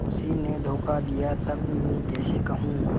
उसी ने धोखा दिया तब मैं कैसे कहूँ